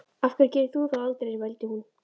Af hverju gerir þú það aldrei? vældi hún.